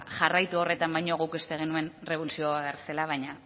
jarraitu horretan baino guk uste genuen revulsivo bat behar zela baina